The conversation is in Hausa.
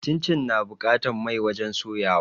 Cincin na buƙatan mai wajen soya wa